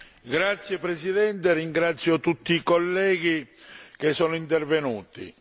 Signora Presidente, ringrazio tutti i colleghi che sono intervenuti.